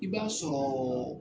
I b'a sɔrɔ